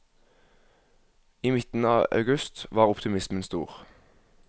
I midten av august var optimismen stor.